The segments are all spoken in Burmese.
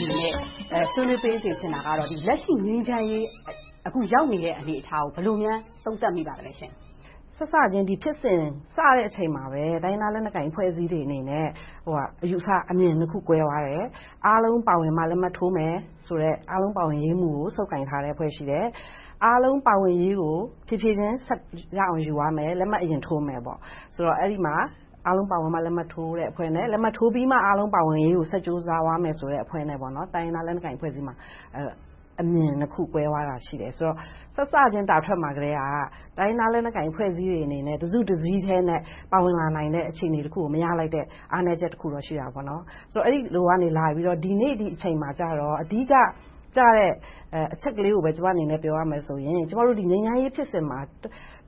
နေနဲ့ ဆွေးနွေးပေးစေချင်တာကတော့ လက်ရှိ ငြိမ်းချမ်းရေး၊ အခုရောက်နေတဲ့ အနေအထားကို ဘယ်လိုများ သုံးသပ်မိပါသလဲရှင့်။ စစချင်း ဒီဖြစ်စဉ်စတဲ့အချိန်မှာပဲ တိုင်းရင်းသားလက်နက်ကိုင်အဖွဲ့အစည်းတွေအနေနဲ့ အယူအဆ၊ အမြင်နှစ်မျိုး ကွဲသွားတယ်။ အားလုံးပါဝင်မှ လက်မှတ်ထိုးမယ်ဆိုတဲ့ အားလုံးပါဝင်ရေးမူကို ဆုပ်ကိုင်ထားတဲ့အဖွဲ့ ရှိတယ်။ အားလုံးပါဝင်ရေးကို ဖြေးဖြေးချင်း ဆက်ယူသွားမယ်၊ လက်မှတ်အရင်ထိုးမယ်ဆိုတဲ့ အဖွဲ့။ အဲဒီမှာ အားလုံးပါဝင်မှ လက်မှတ်ထိုးမယ့်အဖွဲ့နဲ့ လက်မှတ်ထိုးပြီးမှ အားလုံးပါဝင်ရေးကို ဆက်ကြိုးစားသွားမယ်ဆိုတဲ့ အဖွဲ့ဆိုပြီး တိုင်းရင်းသားလက်နက်ကိုင်တွေကြားမှာ အမြင်နှစ်ခု ကွဲသွားတာရှိတယ်။ စစချင်းတာထွက်မှာကတည်းက တိုင်းရင်းသားလက်နက်ကိုင် အဖွဲ့အစည်းတွေအနေနဲ့ တစုတစည်းထဲ ပါဝင်လာနိုင်တဲ့ အခြေအနေတခုကို မရလိုက်တဲ့ အားနည်းချက်တခုတော့ ရှိတယ်။ ဆိုတော့ အဲဒီလိုကနေလာပြီး ဒီနေ့ဒီအချိန်မှာကြတော့ အဓိကကျတဲ့ အချက်ကလေးကိုပဲ ကျမအနေနဲ့ ပြောရမယ်ဆိုရင် ကျမတို့ ငြိမ်းချမ်းရေးဖြစ်စဉ်မှာ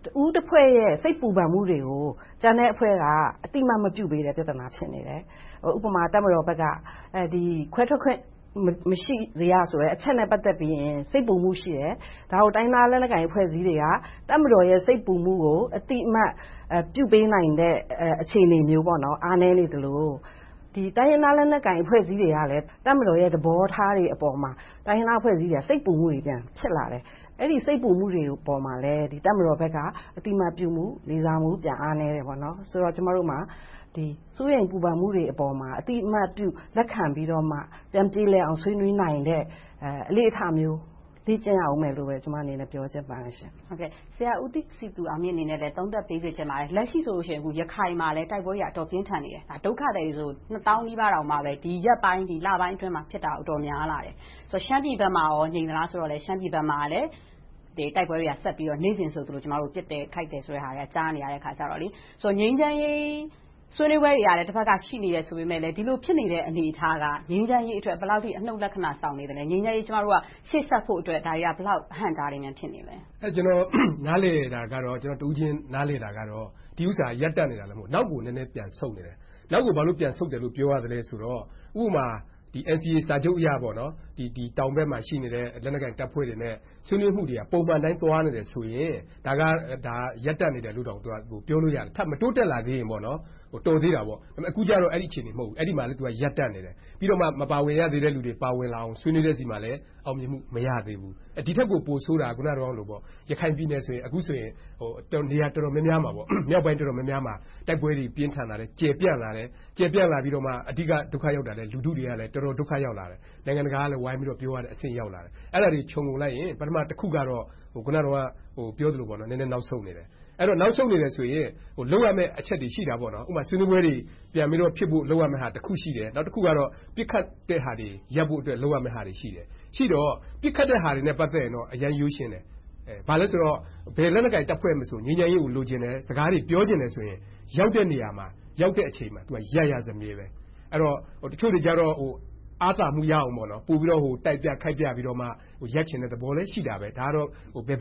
တဦးတဖွဲ့ရဲ့ စိတ်ပူပန်မှုတွေကို ကျန်တဲ့အဖွဲ့က အသိအမှတ်မပြုပေးတဲ့ ပြဿနာ ဖြစ်နေတယ်။ ဥပမာ တပ်မတော်ဘက်က ခွဲထွက်ခွင့် မရှိစေရဆိုတဲ့ အချက်နဲ့ ပတ်သက်ပြီးရင် စိတ်ပူမှုရှိတယ်။ ဒါကို တိုင်းရင်းသားလက်နက်ကိုင် အဖွဲ့အစည်းတွေက တပ်မတော်ရဲ့ စိတ်ပူမှုကို အသိအမှတ်ပြုပေးနိုင်တဲ့ အခြေအနေမျိုး အားနည်းနေသလို၊ ဒီတိုင်းရင်းသား လက်နက်ကိုင်အဖွဲ့အစည်းတွေကလည်း တပ်မတော်ရဲ့ သဘောထားတွေအပေါ်မှာ တိုင်းရင်းသားအဖွဲ့အစည်းတွေက စိတ်ပူမှုတွေ ပြန်ဖြစ်လာတယ်။ အဲဒီ စိတ်ပူမှုတွေပေါ်မှာလည်း တပ်မတော်ဘက်က အသိအမှတ်ပြုမှု၊ လေးစားမှု ပြန်အားနည်းတာနဲ့ ကျမတို့မှာ စိုးရိမ်ပူပန်မှုတွေအပေါ်မှာ အသိအမှတ်ပြု လက်ခံပြီးတော့မှ ပြန်ပြေလည်အောင် ဆွေးနွေးနိုင်တဲ့ အလေ့အထမျိုး လေ့ကျင့်ရအုံးမယ်လို့ ကျမအနေနဲ့ ပြောချင်ပါတယ်။ ဆရာဦးစည်သူအောင်မြင့်အနေနဲ့လည်း သုံးသပ်ပေးစေချင်ပါတယ်။ လက်ရှိမှာဆို ရခိုင်မှာလည်း တိုက်ပွဲတွေက အတော်ပြင်းထန်နေတယ်။ ဒုက္ခသည်တွေဆိုရင်လဲ နှစ်သောင်းနီးပါးလောက် ဒီရက်ပိုင်းအတွင်း၊ လပိုင်းအတွင်းမှာ အတော်များလာတယ်။ ရှမ်းပြည်ဘက်မှာကော ငြိမ်သလားဆိုတော့ တိုက်ပွဲတွေက နေ့စဉ်ဆိုသလို ပစ်တယ်ခိုက်တယ်ဆိုတဲ့ဟာတွေ ကြားနေရတော့ ငြိမ်းချမ်းရေးဆွေးနွေးပွဲတွေကလည်း တဘက်က ရှိနေတယ်ဆိုပေမယ့်လဲ ဒီလိုဖြစ်နေတဲ့ အနေအထားက ငြိမ်းချမ်းရေးအတွက် ဘယ်လောက်အထိ အနုတ်လက္ခဏာဆောင်နေသလဲ။ ငြိမ်းချမ်းရေးကို ရှေ့ဆက်ဖို့အတွက် ဒါတွေက ဘယ်လောက် အဟန့်အတားတွေ ဖြစ်နေသလဲ။ ကျနော် နားလည်တာကတော့ ကျနော်တဦးချင်း နားလည်တာကတော့ ဒီဥစ္စာက ရပ်တန့်နေတာ မဟုတ်ဘဲ၊ နောက်ကိုပြန်ဆုတ်နေတယ်။ နောက်ကို ဘာလိုပြန်ဆုတ်တယ်လို့ ပြောရသလဲဆိုတော့ ဥပမာ NCA စာချုပ်အရ တောင်ဘက်မှာရှိတဲ့ လက်နက်ကိုင်တပ်ဖွဲ့တွေနဲ့ ဆွေးနွေးမှုတွေက ပုံမှန်အတိုင်း သွားနေတယ်ဆိုရင် ဒါက ရပ်တန့်နေတယ်လို့ ပြောလို့ရတယ်။ ထပ်မတိုးတက်လာသေးရင်ပေါ့။ တော်သေးတာပေါ့။ အခုတော့ အဲဒီအခြေအနေမှာ မဟုတ်ဘူး။ အခုတော့ အဲဒီမှာလဲ ရပ်တန့်နေတယ်။ ပြီးတော့မှ မပါဝင်ရသေးတဲ့လူတွေ ပါဝင်လာအောင် ဆွေးနွေးတဲ့ဆီမှာလည်း အောင်မြင်မှု မရသေးဘူး။ ဒီထက်ပိုဆိုးတာက အခုနတုန်းကလို ရခိုင်ပြည်နယ်ဆိုရင် အခုဆိုရင် မြောက်ပိုင်းနေရာ တော်တော်များများမှာ တိုက်ပွဲတွေ ပြင်းထန်လာတယ်။ ကျယ်ပြန့်လာပြီးတော့မှ အဓိက လူထုတွေလည်း တော်တော်ဒုက္ခရောက်လာတယ်။ နိုင်ငံတကာကလည်း ပြောရတဲ့အဆင့် ရောက်လာတယ်။ အဲဒါတွေကို ခြုံငုံလိုက်ရင် ပထမတခုကတော့ အခုနပြောသလို နည်းနည်းနောက်ဆုတ်နေတယ်။ အဲဒီလို နောက်ဆုတ်နေတယ်ဆိုရင် လုပ်ရမယ့် အချက်တွေ ရှိတာပေါ့။ ဥပမာ ဆွေးနွေးပွဲတွေ ပြန်ပြီးတော့ဖြစ်ဖို့ လုပ်ရမယ်အချက်တွေ ရှိတယ်။ ဥပမာ ဆွေးနွေးပွဲတွေ ပြန်ပြီးတော့ဖြစ်ဖို့ လုပ်ရမယ့်ဟာတခု ရှိတယ်။ နောက်တခုကတော့ ပစ်ခတ်မှုတွေ ရပ်ဖို့အတွက် လုပ်ရမယ့်ဟာတွေ ရှိတယ်။ ရှိတော့ ပစ်ခတ်တဲ့ဟာတွေနဲ့ ပတ်သက်ရင် အရမ်းရိုးရှင်းတယ်။ ဘာလဲဆိုတော့ ဘယ်လက်နက်ကိုင် တပ်ဖွဲ့မဆို ငြိမ်းချမ်းရေးကို လိုချင်တယ်။ စကားတွေ ပြောချင်တယ်ဆိုရင် ရောက်တဲ့နေရာမှာ ရောက်တဲ့အချိန်မှာ သူက ရပ်ရစမြဲပါ။ အဲဒီတော့ တချို့တွေကြတော့ အားသာမှုရအောင် ပိုပြီးတော့ တိုက်ခိုက်ပြပြီးတော့ ရပ်ချင်တဲ့သဘောလည်း ရှိတယ်. ဒါကတော့ ဘယ်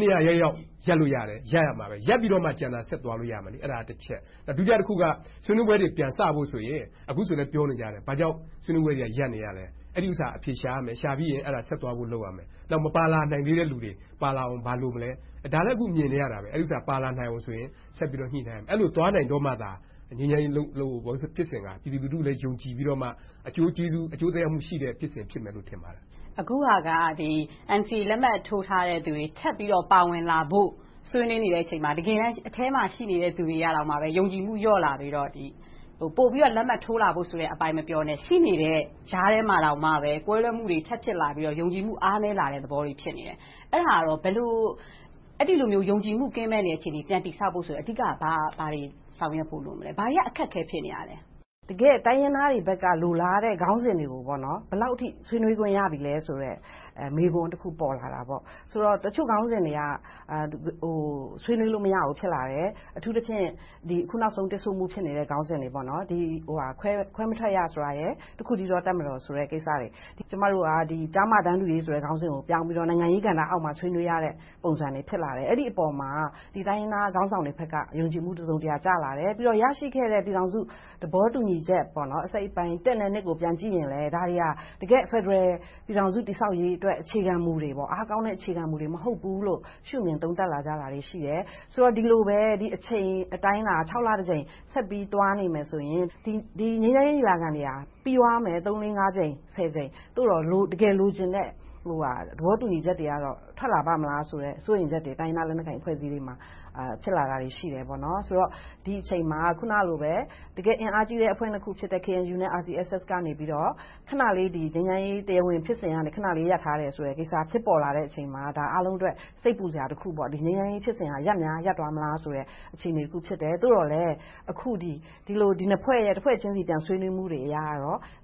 နေရာရောက်ရောက် ရပ်လို့ရတယ်။ ရပ်ပြီးတော့မှ ကျန်တာဆက်သွားလို့ရမယ်။ အဲဒါကတချက်။ ဒုတိယတခုက ဆွေးနွေးပွဲတွေ ပြန်စဖို့ဆိုရင် အခုဆိုလဲ ပြောနေကြတယ်။ ဘာကြောင့် ဆွေးနွေးပွဲတွေက ရပ်နေလဲ။ အဲဒီဥစ္စာကို အဖြေရှာရမယ်။ ရှာပြီးရင် ဆက်သွားဖို့ လုပ်ရမယ်။ နောက် မပါလာနိုင်သေးတဲ့လူတွေ ပါလာအောင် ဘာလို့မလဲ - ဒါလဲ အခုမြင်နေရတယ်။ ပါလာနိုင်အောင်လို့ဆိုရင် ဆက်ပြီးညှိနိုင်ရမယ်။ အဲဒီလိုသွားနိုင်တော့မှသာ ငြိမ်းချမ်းရေးဖြစ်စဉ်က ပြည်သူလူထုကိုလည်း ယုံကြည်ပြီးမှ အကျိုးသက်ရောက်မှု ရှိတဲ့ ဖြစ်စဉ်ဖြစ်မယ်လို့ ထင်ပါတယ်။ အခုဟာက NCA လက်မှတ်ထိုးထားတဲ့လူတွေ ထပ်ပြီးတော့ ပါဝင်လာဖို့ ဆွေးနွေးနေတဲ့အချိန်မှာ တကယ်တမ်း အထဲမှာရှိတဲ့ လူတွေတောင် ယုံကြည်မှု လျော့လာပြီးတော့ ပိုပြီးတော့ လက်မှတ်ထိုးလာဖို့ အပိုင်းမပြောနဲ့ ရှိနေတဲ့ ကြားထဲမှာတောင် ကွဲလွဲမှုတွေ ထပ်ဖြစ်လာပြီးတော့ ယုံကြည်မှု အားနည်းလာတဲ့သဘောတွေ ဖြစ်နေတယ်။ အဲဒီလိုမျိုး ယုံကြည်မှုကင်းမဲ့နေတဲ့ အခြေအနေကို ပြန်လည်တည်ဆောက်ဖို့ အဓိက ဘာတွေဆောင်ရွက်ဖို့လိုလဲ။ ဘာတွေက အခက်အခဲ ဖြစ်နေတာလဲ။ တကယ့် တိုင်းရင်းသားတွေဘက်က လိုလားတဲ့ခေါင်းစဉ်တွေကို ဘယ်လောက်အထိ ဆွေးနွေးခွင့် ရပြီလဲဆိုတဲ့ မေးခွန်းတခု ပေါ်လာတာပေါ့။ တချို့ခေါင်းစဉ်တွေက ဆွေးနွေးလို့ မရဘူး ဖြစ်လာတယ်။ အထူးသဖြင့် အခုနောက်ဆုံး တစ်ဆို့မှု ဖြစ်နေတဲ့ ခေါင်းစဉ်တွေ။ ခွဲမထွက်ရဆိုတာရယ်၊ တခုတည်းသော တပ်မတော်ဆိုတဲ့ ကိစ္စတွေ။ ကျမတို့က ကျား-မ တန်းတူရေး ခေါင်းစဉ်ကိုပြောင်းပြီးတော့ နိုင်ငံရေးကဏ္ဍအောက်မှာ ဆွေးနွေးရတဲ့ ပုံစံတွေ ဖြစ်လာတယ်။ အဲဒီအပေါ်မှာ တိုင်းရင်းသားခေါင်းဆောင်တွေဘက်က ယုံကြည်မှု တစုံတရာကျလာတယ်။ ပြီးတော့ ရရှိခဲ့တဲ့ ပြည်ထောင်စုသဘောတူညီချက် အစိတ်အပိုင်း တစ်နဲ့နှစ်ကို ပြန်ကြည့်ရင်လဲ ဒါတွေက တကယ့်ဖယ်ဒရယ် ပြည်ထောင်စု တည်ဆောက်ရေးအတွက် အခြေခံမူတွေ၊ အားကောင်းတဲ့ အခြေခံမူတွေ မဟုတ်ဘူးလို့ ရှုမြင်သုံးသပ်တာတွေ ရှိလာတယ်။ ဒီလိုပဲ အချိန်အတိုင်းအတာ ခြောက်လတကြိမ် ဆက်ပြီးသွားနေမယ်ဆိုရင် ဒီငြိမ်းချမ်းရေး ညီလာခံတွေက ပြီသွားမယ်။ သုံးလေးငါးကြိမ် ဆယ်ကြိမ် သို့သော် တကယ်လိုချင်တဲ့ သဘောတူညီချက်တွေကတော့ ထွက်လာပါ့မလားဆိုတဲ့ စိုးရိမ်ချက်တွေ တိုင်းရင်းသားလက်နက်ကိုင် အဖွဲ့အစည်းတွေမှာ ဖြစ်လာတာတွေရှိတယ်။ ဆိုတော့ ဒီအချိန်မှာ အခုနလိုမျိုး တကယ့်အင်အားကြီးအဖွဲ့နှစ်ခုဖြစ်တဲ့ KNU နဲ့ RCSS တို့ကနေ ခဏလေး ငြိမ်းချမ်းရေးဖြစ်စဉ်ကနေ ရပ်ထားတယ်ဆိုတဲ့ကိစ္စ ဖြစ်ပေါ်လာချိန်မှာ အားလုံးအတွက် စိတ်ပူစရာတခု။ ငြိမ်းချမ်းရေးဖြစ်စဉ်က ရပ်များရပ်သွားမလားဆိုတဲ့ အခြေအနေတခု ဖြစ်တယ်။ သို့သော်လဲ ဒီလိုနှစ်ဖွဲ့ရဲ့ တဖွဲ့ချင်းဆီရဲ့ ဆွေးနွေးမှုတွေအရ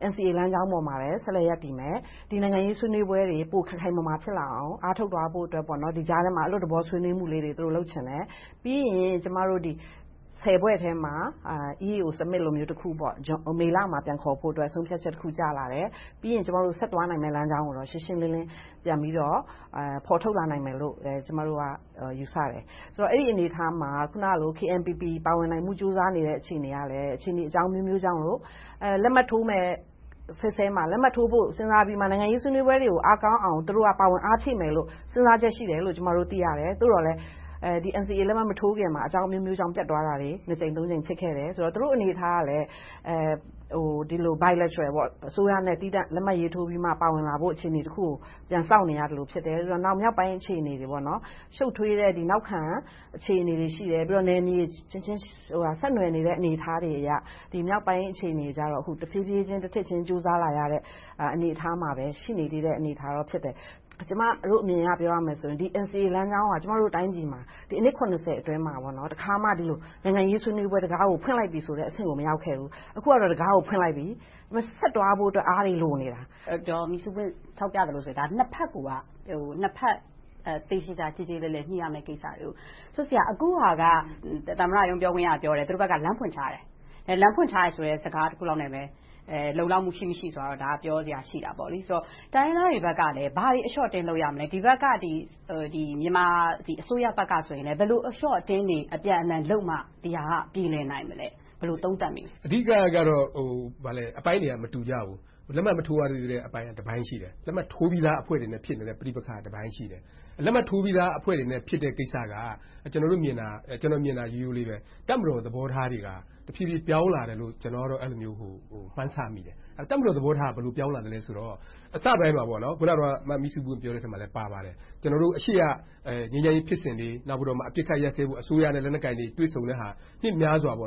NCA လမ်းကြောင်းပေါ်မှာပဲ ရပ်တည်မယ်။ ဒီနိုင်ငံရေးဆွေးနွေးပွဲတွေ ပိုမိုခိုင်မာဖြစ်လာအောင် အားထုတ်သွားဖို့အတွက် ကြားထဲမှာ အလွတ်သဘော ဆွေးနွေးမှုလေးတွေကို သူတို့လုပ်ချင်တယ်။ ပြီးရင် ဖွဲ့ထဲမှာ EU Summit လိုမျိုး မေလမှာ ပြန်ခေါ်ဖို့အတွက် ဆုံးဖြတ်ချက်တခု ကျလာတယ်။ ပြီးရင် ဆက်သွားနိုင်မယ့်လမ်းကြောင်းကိုတော့ ရှင်းရှင်းလင်းလင်း ပြန်ပြီးတော့ ဖော်ထုတ်လာနိုင်မယ်လို့ ကျမတို့က ယူဆတယ်။ ဆိုတော့ အဲဒီအနေအထားမှာ အခုနလို KNPP ပါဝင်နိုင်မှု ကြိုးစားနေတဲ့ အခြေအနေကလဲ အခြေအနေအကြောင်းအမျိုးမျိုးကြောင့်လို့ လက်မှတ်ထိုးမယ့်ဆဲဆဲမှာ လက်မှတ်ထိုးဖို့ စဉ်းစားပြီးမှ နိုင်ငံရေးဆွေးနွေးမှုတွေကို အားကောင်းအောင် သူတို့က ပါဝင်အားဖြည့်မယ်လို့ စဉ်းစားချက်ရှိတယ်လို့ သိရှိရတယ်။ သို့သော်လဲ NCA လက်မှတ်မထိုးခင်မှာ အကြောင်းအမျိုးမျိုးကြောင့် ပျက်သွားတာတွေ နှစ်ကြိမ်သုံးကြိမ် ဖြစ်ခဲ့တယ်။ သူတို့အနေအထားကလဲ ဒီလို bilateral အစိုးရနဲ့ သီးသန့်လက်မှတ်ရေးထိုးပြီးမှ ပါဝင်လာဖို့ အခြေအနေတခုကို ပြန်စောင့်နေရသလိုဖြစ်တယ်။ နောက် မြောက်ပိုင်းအခြေအနေတွေ ရှုပ်ထွေးတဲ့နောက်ခံ အခြေအနေတွေ ရှိတယ်။ နောက် နယ်မြေအချင်းချင်း ဆက်နွှယ်နေတဲ့ အနေအထားတွေအရ မြောက်ပိုင်းအခြေအနေကတော့ တဖြည်းဖြည်းချင်း တထစ်ချင်း ကြိုးစားလာရတဲ့ အနေအထားမှာပဲ ရှိနေသေးတယ်။ ကျမတို့အမြင်အရ ပြောရမယ်ဆိုရင် NCA လမ်းကြောင်းက ကျမတို့ တိုင်းပြည်မှာ အနှစ် အတွင်းမှာ တခါမှ နိုင်ငံရေးဆွေးနွေးပွဲတံခါးကို ဖွင့်လိုက်ပြီဆိုတဲ့ အဆင့်ကို မရောက်ခဲ့ဘူး။ အခုကတော့ တံခါးကို ဖွင့်လိုက်ပြီ။ ဒါပေမဲ့ ဆက်သွားဖို့ အားတွေလိုနေတယ်။ ဒေါ်မိဆူးပွင့် ထောက်ပြသလိုဆို နှစ်ဘက်ကိုက သေသေချာချာ ကျေကျေလည်လည် ညှိရမယ့် ကိစ္စတွေ။ အခုဟာက သမ္မတရုံး ပြောခွင့်ရက ပြောတယ်။ သူတို့ဘက်က လမ်းဖွင့်ထားတယ်။ လမ်းဖွင့်ထားတယ်ဆိုတဲ့ စကားတခုနဲ့ပဲ လုံလောက်မှု ရှိမရှိဆိုတာတော့ ပြောစရာရှိတယ်။ ဆိုတော့ တိုင်းရင်းသားတွေဘက်ကရော ဘာတွေ အလျှော့အတင်း လုပ်ရမလဲ။ ဒီဘက်က မြန်မာပြည်အစိုးရဘက်ကဆိုရင်လဲ ဘယ်လိုအလျှော့အတင်းတွေ အပြန်အလှန်လုပ်မှ ဒီဟာက ပြေလည်နိုင်မလဲ။ ဘယ်လို သုံးသပ်မိသလဲ။ အဓိကတော့ အပိုင်းတွေက မတူကြဘူး။ လက်မှတ်မထိုးရသေးတဲ့အပိုင်းက တပိုင်းရှိတယ်။ လက်မှတ်ထိုးပြီးသာ အဖွဲ့တွေနဲ့ ဖြစ်နေတဲ့အပိုင်းက တပိုင်းရှိတယ်။ လက်မှတ်ထိုးပြီးသားအဖွဲ့တွေနဲ့ ဖြစ်တဲ့ကိစ္စတွေက ကျနော်မြင်တာ ရိုးရိုးလေးပါ - တပ်မတော် သဘောထားတွေက တဖြည်းဖြည်း ပြောင်းလာတယ်လို့ ကျနော်ကတော့ အဲဒီလိုမျိုး မှန်းဆမိတယ်။ တပ်မတော်သဘောထားက ဘယ်လိုပြောင်းလာလဲဆိုတော့ အစပိုင်းမှာ အခုန မမိဆူးပွင့်ပြောတဲ့ အထဲမှာလဲ ပါပါတယ်။ ကျနော်တို့ အရှေ့က ငြိမ်းချမ်းရေး ဖြစ်စဉ်တွေ နောက်ပြီးမှ အပစ်အခတ် ရပ်ဆဲဖို့ အစိုးရနဲ့ လက်နက်ကိုင်တွေ တွေ့ဆုံတဲ့ဟာတွေက နှစ်ပေါင်းများစွာ နှစ်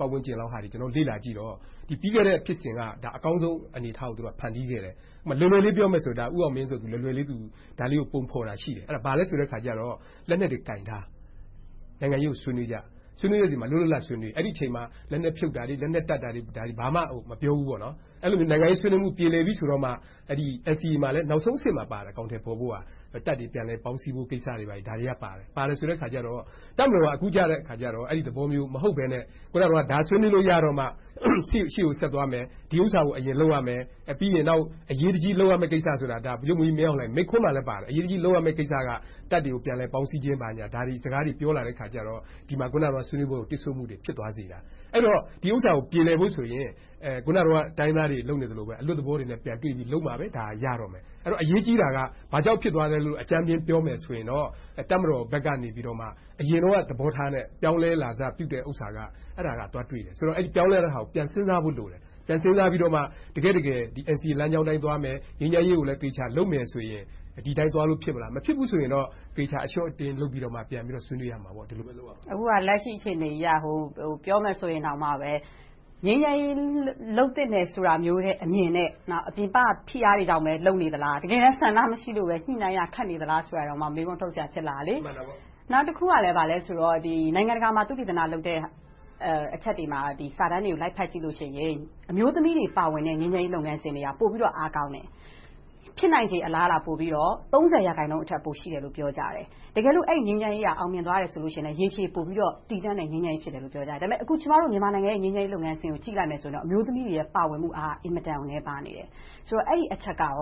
ပတ်ဝန်းကျင်လောက်ကို လေ့လာကြည့်တော့ ပြီးခဲ့တဲ့ဖြစ်စဉ်က အကောင်းဆုံးအနေအထားကို ဖန်တီးခဲ့တယ်။ လွယ်လွယ်လေး ပြောမယ်ဆိုရင် ဦးအောင်မင်း က ဒါလေးကို လွယ်လွယ်လေး ပုံဖော်တာရှိတယ်။ ဘာလဲဆိုတော့ လက်နက်တွေကိုင်ထား နိုင်ငံရေးကို ဆွေးနွေးကြမယ်။ ဆွေးနွေးကြတဲ့အချိန်မှာ လွတ်လွတ်လပ်လပ် ဆွေးနွေး။ အဲဒီအချိန်မှာ လက်နက်ဖြုတ်တာတွေ၊ လက်နက်တပ်တာတွေ ဘာမှမပြောဘူး။ အဲဒီလိုမျိုး နိုင်ငံရေးဆွေးနွေးမှု ပြေပြီဆိုမှ NCA မှာလည်း နောက်ဆုံးအဆင့်မှာပါတယ် အကောင်အထည်ဖော်ဖို့က တပ်တွေ ပြန်လည်ပေါင်းစည်းဖို့ဆိုတဲ့ အချက်တွေပါတယ်။ ဆိုတော့ တပ်မတော်က အခုကြတော့ အဲဒီသဘောမျိုး မဟုတ်ဘဲနဲ့ အခုနပြောသလို ဒါဆွေးနွေးရတော့မှ ရှေ့ကိုဆက်သွားမယ်။ ဒီဥစ္စာကို အရင်လုပ်ရမယ်။ ပြီးနောက် အရေးကြီးလုပ်ရမယ့်ကိစ္စဆိုတာ ဗိုလ်ချုပ်မှူးကြီး မင်းအောင်လှိုင် မိန့်ခွန်းမှာလည်းပါတယ်။ အရေးတကြီး လုပ်ရမယ့်ကိစ္စက တပ်တွေကို ပြန်လည်ပေါင်းစည်းခြင်း ဘာညာစကားတွေ ပြောလာတဲ့အခါကြတော့ ဒီမှာ ဆွေးနွေးမှုကို တစ်ဆို့မှုတွေ ဖြစ်လာတယ်။ အဲဒီတော့ ဒီဥစ္စာကို ပြေလည်ဖို့ဆိုရင် အခုန တိုင်းရင်းသားတွေ လုပ်နေသလိုပဲ အလွတ်သဘောတွေ ပြန်တွေ့ပြီး လုပ်မှပဲ ရတော့မယ်။ အဲဒီတော့ အရေးကြီးတာက ဘာကြောင့် ဖြစ်သွားသလဲလို့ အကြမ်းမျဉ်းပြောမယ်ဆိုရင် တပ်မတော်ဘက်ကနေ အရင်တုန်းက သဘောထားနဲ့ ပြောင်းလဲလာတာကို သွားတွေ့တယ်။ ပြောင်းလဲလာတဲ့ဟာကို ပြန်စဉ်းစားဖို့လိုတယ်။ ပြန်စဉ်းစားပြီးမှ တကယ့်တကယ် NCA လမ်းကြောင်းအတိုင်းသွားမယ်။ ငြိမ်းချမ်းရေးကိုလည်း သေချာလုပ်မယ်ဆိုရင် ဒီအတိုင်းသွားလို့ ဖြစ်မလား။ မဖြစ်ဘူးဆိုရင် သေချာအလျှော့အတင်း လုပ်ပြီးမှ ပြန်ဆွေးနွေးရမယ်။ ဒီလိုမျိုး လုပ်ရမယ်။ အခုက လက်ရှိအခြေအနေအရ ပြောမယ်ဆိုရင်တောင်မှ ငြိမ်းချမ်းရေး လုပ်သင့်တယ်အမြင်နဲ့ နောက် ပြင်ပက ဖိအားတွေကြောင့်နဲ့ပဲ လုပ်နေသလား။ တကယ်တမ်း ဆန္ဒမရှိလို့ ညှိနှိုင်းရ ခက်နေသလားဆိုပြီး မေးခွန်းထုတ်စရာ ဖြစ်လာတယ်။ နောက်တခုက ဘာလဲဆိုတော့ နိုင်ငံတကာမှာ သုတေသနလုပ်တဲ့ အချက်တွေ၊ စာတမ်းတွေကို လိုက်ဖတ်ကြည့်တဲ့အခါ အမျိုးသမီးတွေပါဝင်တဲ့ ငြိမ်းချမ်းရေး လုပ်ငန်းစဉ်တွေက ပိုပြီးတော့ အားကောင်းတယ်။ ဖြစ်နိုင်ချေ အလားအလာ ပိုပြီးတော့ သုံးဆယ်ရာခိုင်နှုန်း ပိုရှိတယ်လို့ ပြောကြတယ်။ တကယ်လို့ အဲဒီငြိမ်းချမ်းရေးက အောင်မြင်သွားတယ်ဆိုရင် ရေရှည်တည်တန့်တဲ့ ငြိမ်းချမ်းရေး ဖြစ်တယ်လို့ ပြောကြတယ်။ ဒါပေမဲ့ ကျမတို့ မြန်မာနိုင်ငံရဲ့ ငြိမ်းချမ်းရေးလုပ်ငန်းစဉ်ကို ကြည့်မယ်ဆိုရင် အမျိုးသမီးတွေရဲ့ ပါဝင်မှုအားက အင်မတန်မှ နည်းပါးနေတယ်။ ဆိုတော့ အဲဒီအချက်ကရော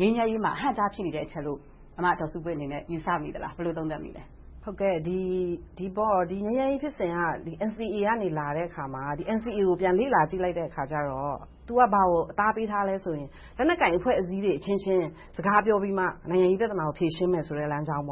ငြိမ်းချမ်းရေးမှာ အဟန့်အတား ဖြစ်နေတဲ့အချက်လို့ ဆရာမဒေါ်မိဆူးပွင့်အနေနဲ့ ယူဆမိသလား။ ဘယ်လို သုံးသပ်မိသလဲ။ ဒီငြိမ်းချမ်းရေးဖြစ်စဉ်က NCA က လာတဲ့အခါမှာ NCA ကို ပြန်လေ့လာကြည့်လိုက်တဲ့အခါကြတော့ သူက ဘာကို အသားပေးထားသလဲဆိုရင် လက်နက်ကိုင် အဖွဲ့အစည်းတွေအချင်းချင်း စကားပြောပြီးမှ နိုင်ငံရေးပြဿနာကို ဖြေရှင်းမယ်ဆိုတဲ့ လမ်းကြောင်း။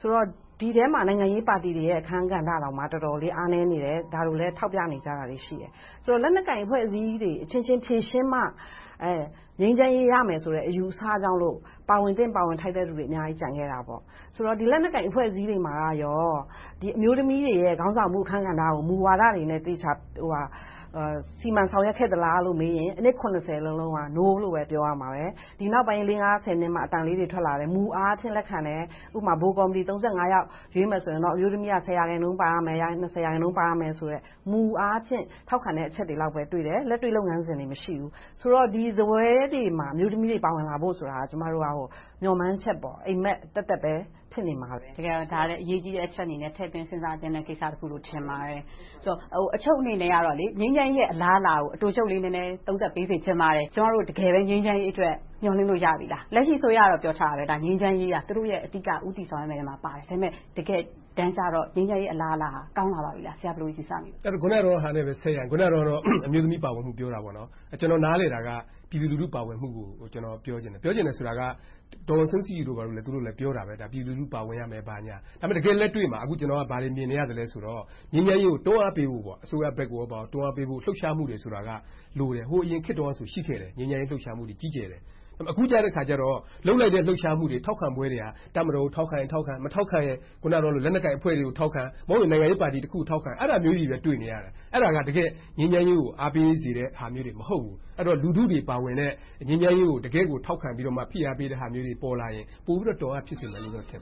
ဆိုတော့ ဒီအထဲမှာ နိုင်ငံရေးပါတီတွေရဲ့ အခန်းကဏ္ဍတောင်မှ တော်တော်လေး အားနည်းနေတယ်။ ဒါကို ထောက်ပြနေကြတာတွေ ရှိတယ်။ ဆိုတော့ လက်နက်ကိုင်အဖွဲ့အစည်းတွေ အချင်းချင်းရှင်းမှ ငြိမ်းချမ်းရေးရမယ်ဆိုတဲ့ အယူအဆကြောင့် ပါဝင်သင့်ပါဝင်ထိုက်တဲ့ လူတွေအများကြီး ကျန်ခဲ့တယ်။ ဆိုတော့ ဒီလက်နက်ကိုင်အဖွဲ့အစည်းတွေမှာ အမျိုးသမီးတွေရဲ့ ခေါင်းဆောင်မှု အခန်းကဏ္ဍကို မူဝါဒအနေနဲ့ သေချာစီမံဆောင်ရွက်ခဲ့သလားလို့ မေးရင် အနှစ် လုံးလုံးက နိုးလို့ပဲ ပြောရမှာပဲ။ ဒီနောက်ပိုင်း လေးငါးဆယ်နှစ်မှာ အသံလေးတွေ ထွက်လာတယ်။ မူအားဖြင့် လက်ခံတယ်။ ဥပမာ ဗဟိုကော်မတီ ယောက် ရွေးမယ်ဆိုရင်တော့ အမျိုးသမီး ရာခိုင်နှုန်းပါရမယ်။ ရာခိုင်နှုန်း ပါရမယ့်ဆိုတဲ့ မူအားဖြင့် ထောက်ခံတဲ့ အချက်တွေလောက်ပဲ တွေ့တယ်။ လက်တွေ့လုပ်ငန်းစဉ်တွေ မရှိဘူး။ ဆိုတော့ ဒီစားပွဲတွေမှာ အမျိုးသမိးတွေ ပါဝင်လာဖို့ဆိုတာက ကျမတို့ မျှော်မှန်းချက်၊ အိပ်မက်သက်သက်ပဲ ဖြစ်နေမှာပဲ။ တကယ်တော့ ဒါကို အရေးကြီးတဲ့ အချက်အနေနဲ့ ထည့်သွင်းစဉ်းစားသင့်တဲ့ ကိစ္စတခုလို့ ထင်ပါတယ်။ ဆိုတော့ အချုပ်အနေနဲ့ ငြိမ်းချမ်းရေးရဲ့ အလားအလာကို အတိုချုပ်လေး နည်းနည်းသုံးသပ်ပေးစေချင်ပါတယ်။ ကျမတို့ တကယ်ပဲ ငြိမ်းချမ်းရေးအတွက် မျှော်လင့်လို့ရပြီလား။ လက်ရှိ အစိုးရကတော့ ပြောထားတယ် ငြိမ်းချမ်းရေးက သူတို့ရဲ့ အဓိက ဦးတည်သွားမယ့်အထဲမှာပါတယ်။ ဒါပေမဲ့ တကယ်တမ်းကြတော့ ငြိမ်းချမ်းရေး အလားအလာဟာ ကောင်းလာပြီလား။ အခုနဟာနဲ့ ဆက်ရရင် အမျိုးသမီးပါဝင်မှု ပြောတယ်။ ကျနော် နားလည်တာက ပြည်သူလူထု ပါဝင်မှုကို ကျနော် ပြောချင်တယ်။ ပြောချင်တာက ဒေါ်အောင်ဆန်းစုကြည်တို့လည်း ပြောတာပဲ ပြည်သူလူထု ပါဝင်ရမယ် ဘာညာ။ ဒါပေမဲ့ တကယ့်လက်တွေ့မှာ ဘာတွေမြင်နေရသလဲဆိုရင် ငြိမ်းချမ်းရေးကို တွန်းအားပေးဖို့ အစိုးရကိုလည်း တွန်းအားပေးဖို့ လှုပ်ရှားမှုတွေလိုတယ်။ ဟိုအရင်ခေတ်တုန်းက ရှိခဲ့တယ်။ ငြိမ်းချမ်းရေး လှုပ်ရှားမှုတွေ ရှိခဲ့တယ်။ အခုကြတော့ လုပ်လိုက်တဲ့ လှုပ်ရှားမှုတွေ၊ ထောက်ခံမှုတွေက တပ်မတော်ကို ထောက်ခံရင်ထောက်ခံ၊ မထောက်ခံရင် အခုနပြောတဲ့ လက်နက်ကိုင်အဖွဲ့တွေကို ထောက်ခံ။ မဟုတ်ရင် နိုင်ငံရေးပါတီတခုခုကို ထောက်ခံ။ အဲဒါမျိုးတွေပဲ တွေ့နေရတယ်။ အဲဒါတွေက ငြိမ်းချမ်းရေးကို အားပေးစေတဲ့ဟာမျိုးတွေ မဟုတ်ဘူး။ လူထုတွေ ပါဝင်တဲ့ ငြိမ်းချမ်းရေးကို တကယ့်ကို ထောက်ခံပြီးမှ ဖိအားပေးတဲ့ဟာမျိုးတွေ ပေါ်လာရင် ပိုပြီးတော့ တွန်းအားဖြစ်စေမယ်လို့ ထင်